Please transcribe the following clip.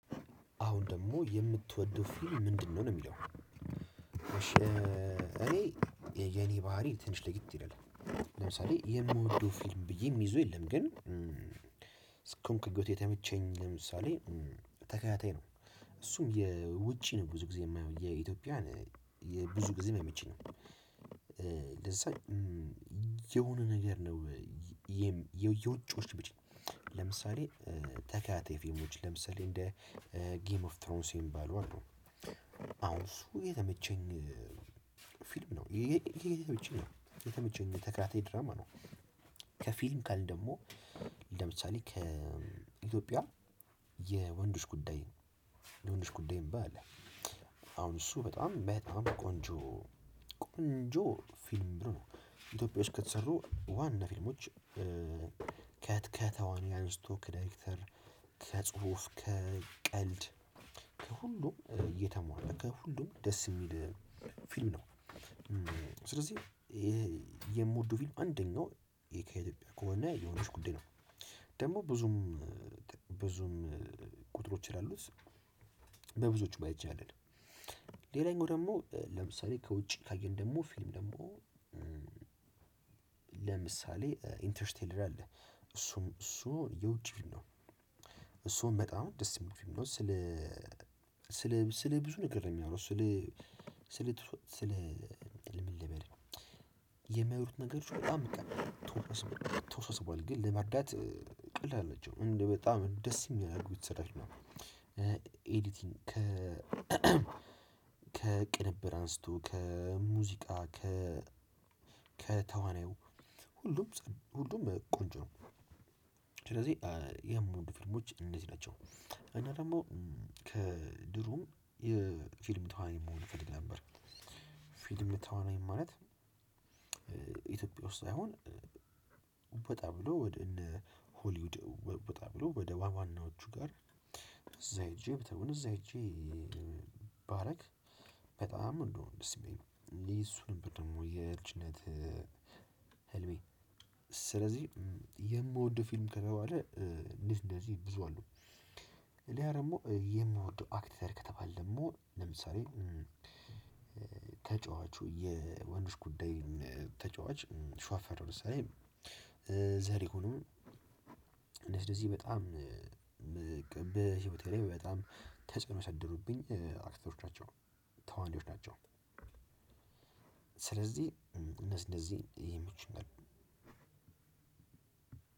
አሁን ደግሞ የምትወደው ፊልም ምንድነው ነው የሚለው? እሺ እኔ የኔ ባህሪ ትንሽ ለየት ይላል ለምሳሌ የምወደው ፊልም ብዬ የምይዘው የለም ግን እስኮሆንኩበት የተመቸኝ ለምሳሌ ተከታታይ ነው። እሱም የውጪ ነው ብዙ ጊዜ የማየው የኢትዮጵያን ብዙ ጊዜ አይመቸኝም ነው። ለዛ የሆነ ነገር ነው። የውጪዎች ለምሳሌ ተከታታይ ፊልሞች ለምሳሌ እንደ ጌም ኦፍ ትሮንስ የሚባሉ አሉ። አሁን እሱ የተመቸኝ ፊልም ነው። የተመቸኝ ተከታታይ ድራማ ነው። ከፊልም ካልን ደግሞ ለምሳሌ ከኢትዮጵያ የወንዶች ጉዳይ ነው የወንዶች ጉዳይ የሚባል አለ። አሁን እሱ በጣም በጣም ቆንጆ ቆንጆ ፊልም ምለው ነው ኢትዮጵያ ውስጥ ከተሰሩ ዋና ፊልሞች ከተዋንያን አንስቶ ከዳይሬክተር ከጽሁፍ ከቀልድ ከሁሉም እየተሟላ ከሁሉም ደስ የሚል ፊልም ነው። ስለዚህ የምወደው ፊልም አንደኛው ከኢትዮጵያ ከሆነ የወንዶች ጉዳይ ነው። ደግሞ ብዙም ብዙም ቁጥሮች ስላሉት በብዙዎቹ ማለት እንችላለን። ሌላኛው ደግሞ ለምሳሌ ከውጭ ካየን ደግሞ ፊልም ደግሞ ለምሳሌ ኢንተርስቴለር አለ። እሱም እሱ የውጪ ነው እሱ አሁን በጣም ደስ የሚል ፊልም ነው። ስለ ስለ ስለ ብዙ ነገር ነው የሚያወራው ስለ ስለ ስለ ምን ልበል? የሚያወሩት ነገሮች በጣም ተወሳስቧል ተወሳስቧል በኋላ ግን ለመረዳት ቀላል ናቸው። እንደ በጣም ደስ የሚያደርጉት ስራዎች ነው። ኤዲቲንግ ከ ከቅንብር አንስቶ ከሙዚቃ ከ ከተዋናዩ ሁሉም ሁሉም ቆንጆ ነው። ስለዚህ የምወድ ፊልሞች እነዚህ ናቸው። እና ደግሞ ከድሮ የፊልም ተዋናይ መሆን እፈልግ ነበር። ፊልም ተዋናይ ማለት ኢትዮጵያ ውስጥ ሳይሆን ወጣ ብሎ ወደ እነ ሆሊውድ ወጣ ብሎ ወደ ዋናዎቹ ጋር እዛ ሄጄ ብተውን እዛ ሄጄ ባረግ በጣም ነው እንደውም ደስ የሚለኝ እኔ እሱ ደግሞ የልጅነት ህልሜ። ስለዚህ የምወደው ፊልም ከተባለ እንደዚህ እንደዚህ ብዙ አሉ። ሌላ ደግሞ የምወደው አክተር ከተባለ ደግሞ ለምሳሌ ተጫዋቹ የወንዶች ጉዳይ ተጫዋች ሸዋፈራሁ ደሳለኝ። ዘርይሁኑ እንደዚህ እንደዚህ በጣም በህይወቴ በጣም ተጽዕኖ ያሳደሩብኝ አክተሮች ናቸው ተዋናዮች ናቸው። ስለዚህ እነዚህ እነዚህ ይመቹኛል።